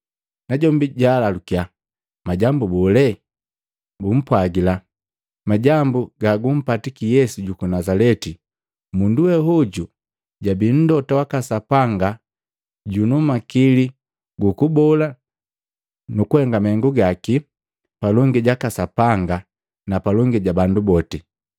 Najombi jaalalukya, “Majambu bole?” Bumpwagila, “Majambu gagumpata Yesu juku Nazaleti. Mundu we hoju jabii Mlota waka Sapanga junu makili gukubola nukuhenga mahengu gaki, palongi jaka Sapanga na palongi ja bandu boti.